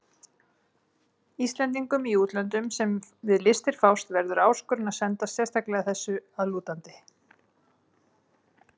Íslendingum í útlöndum, sem við listir fást, verður áskorun að sendast sérstaklega þessu að lútandi.